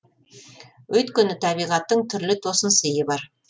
өйткені табиғаттың түрлі тосынсыйы бар